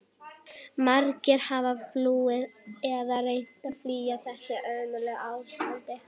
Margir hafa flúið eða reynt að flýja þetta hörmulega ástand.